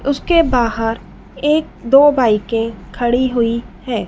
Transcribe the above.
उसके बाहर एक दो बाइके खड़ी हुई है।